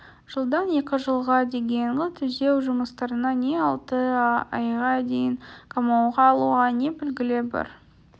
жылдан екі жылға дейінгі түзеу жұмыстарына не алты айға дейін қамауға алуға не белгілі бір